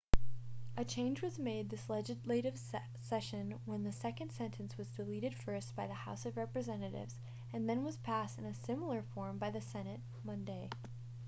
a change was made this legislative session when the second sentence was deleted first by the house of representatives and then was passed in a similar form by the senate monday